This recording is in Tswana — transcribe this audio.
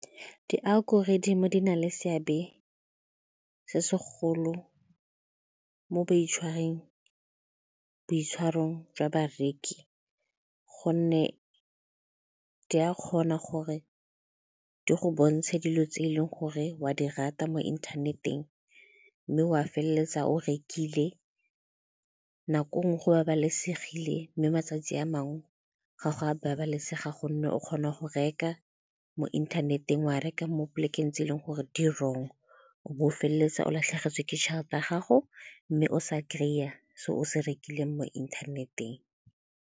Di-algorithm-e di na le seabe se segolo mo boitshwarong jwa bareki gonne di a kgona gore di go bontshe dilo tse e leng gore o a di rata mo inthaneteng mme wa feleletsa o rekile, nako nngwe go babalesegile mme matsatsi a mangwe ga go a babalesega gonne o kgona go reka mo inthaneteng, wa reka mo polekeng tse e leng gore di-wrong o bo o feleletsa o latlhegetswe ke tšhelete ya gago mme o sa kry-a seo o se rekileng mo inthaneteng.